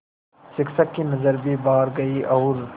शिक्षक की नज़र भी बाहर गई और